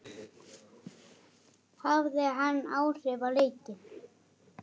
Hafði hann áhrif á leikinn?